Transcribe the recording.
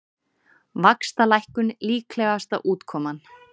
Vaxtalækkun líklegasta útkoman